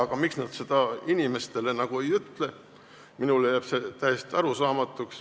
Aga miks nad seda inimestele ei ütle, jääb mulle täiesti arusaamatuks.